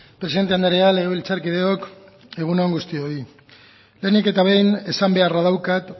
presidente andrea legebiltzarkideok egun on guztioi lehenik eta behin esan beharra daukat